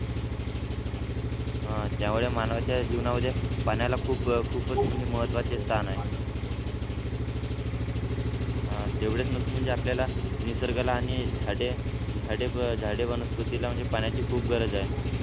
ह त्यामुळे मानवाच्या जीवनामध्ये पाण्याला खूप खूपच म्हणजे महत्त्वाचे स्थान आहे अं तेवढेच नसून म्हणजे आपल्याला निसर्गाला आणि झाडे झाडे वनस्पतीला म्हणजे पाण्याची खूप गरज आहे.